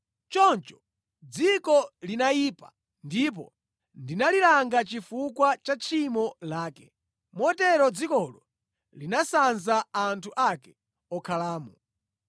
Choncho dziko linayipa ndipo ndinalilanga chifukwa cha tchimo lake. Motero dzikolo linasanza anthu ake okhalamo.